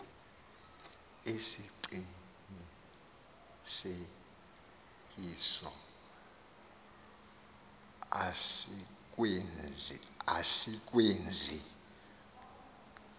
esi siqinisekiso asikwenzi